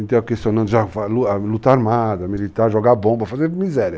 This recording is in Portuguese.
Então, questionando já a luta armada, militar, jogar bomba, fazer miséria.